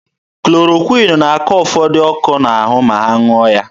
Klorokwịn na-akọ ụfọdụ ndị ọkọ n'ahụ ma ha ṅụọ ya.